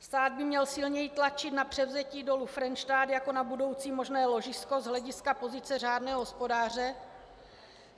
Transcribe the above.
Stát by měl silněji tlačit na převzetí Dolu Frenštát jako na budoucí možné ložisko z hlediska pozice řádného hospodáře.